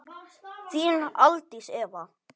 Þín Aldís Eva.